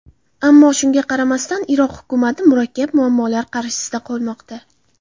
Ammo, shunga qaramasdan, Iroq hukumati murakkab muammolar qarshisida qolmoqda.